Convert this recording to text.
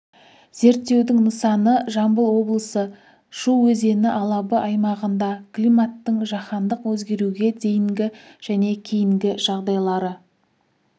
зерттеудің нысаны жамбыл облысы шу өзені алабы аймағында климаттың жаһандық өзгеруге дейінгі және кейінгі жағдайлары